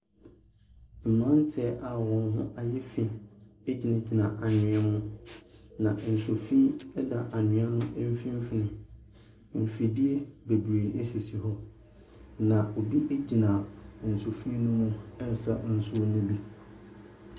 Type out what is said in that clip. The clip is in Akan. Mmranteɛ a wɔn ho ayɛ fi gyinagyina awea mu, na nsu fi fda anwea no mfinimfini. Mfidie bebree sisi hɔ. Na mfidie bebree sisi hɔ, na obi gyina nsu fi no mu resa nsuo no bi.